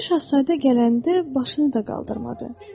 Balaca Şahzadə gələndə başını da qaldırmadı.